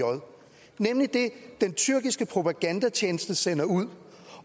nemlig det den tyrkiske propagandatjeneste sender ud